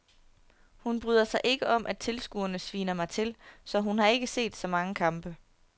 Hun bryder sig ikke om at tilskuerne sviner mig til, så hun har ikke set så mange kampe.